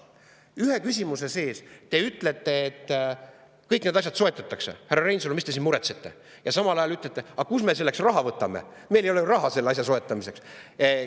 Ühe ja sama küsimuse sees te ütlete, et kõik need asjad soetatakse, et, härra Reinsalu, mis te siin muretsete, ja samal ajal küsite, aga kust me selleks raha võtame, et meil ei ole ju raha selle asja soetamiseks.